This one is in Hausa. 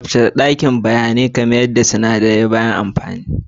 Tsaftace dakin gwaje-gwaje kuma mayar da duk sinadarai bayan amfani.